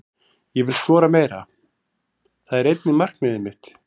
Ég vil skora meira, það er einnig markmiðið mitt.